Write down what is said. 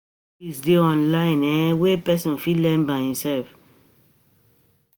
Many skills de online um wey person fit learn by himself